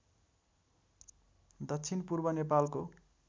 दक्षिण पूर्व नेपालको